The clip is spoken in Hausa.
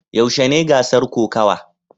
Yaushe ne gasar kokawa?